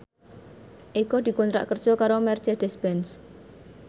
Eko dikontrak kerja karo Mercedez Benz